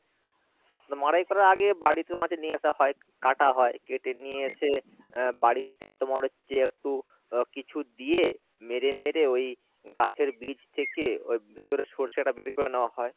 তো মাড়াই করার আগে বাড়িতেও তোমার সেই নিয়ে আসা হয় কাটা হয় কেটে নিয়ে এসে আহ বাড়িতে তোমার হচ্ছে একটু আহ কিছু দিয়ে মেরে মেরে ওই গাছের বীজ থেকে ওই ভেতরের শর্ষে টা বের করে নেওয়া হয়